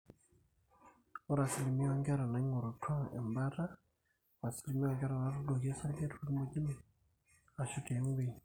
ore asilimia oonkera naaing'orutua embaata o asilimia oonkera naatuuduoki osarge torkimojino aashu tiaiwueji.